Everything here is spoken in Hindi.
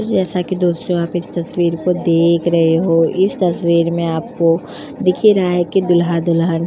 जैसा कि दोस्तों आप इस तस्वीर को देख रहे हो इस तस्वीर में आपको दिखेगा है कि दूल्हा-दुल्हन --